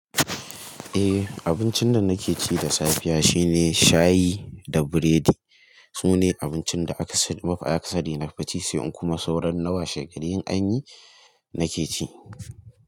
Eh abincin da nake ci da safiya shine shayi da biredi. Sune abincin da aka sani mafi akasari nafi ci sai in kuma sauran na wa shegari in anyi nake ci.